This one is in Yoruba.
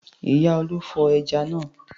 Ìyá Olú fọ ẹja náà.